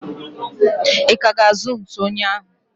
I ka ga-azu ntụ oyi ahụ?